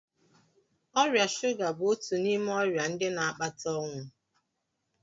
Ọrịa shụga bụ otu n'ime ọrịa ndị na-akpata ọnwụ.